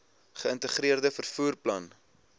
geïntegreerde vervoer plan